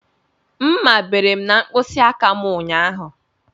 Mmá bere m n'mkpisi aka m ụnyaahụ.